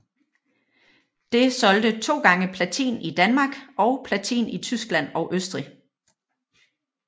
Det solgte 2x platin i Danmark og platin i Tyskland og Østrig